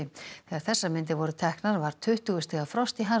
þegar þessar myndir voru teknar var tuttugu stiga frost í